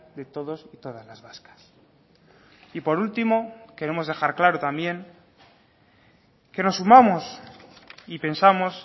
de todos y todas las vascas y por último queremos dejar claro también que nos sumamos y pensamos